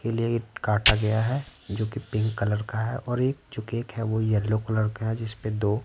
के लिए ये काटा गया है जो कि पिंक कलर का है और एक जो केक है वो येलो कलर का है जिस पे दो --